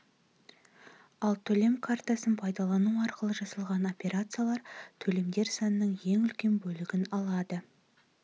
ал төлем карточкасын пайдалану арқылы жасалған операциялар төлемдер санының ең үлкен бөлігін алады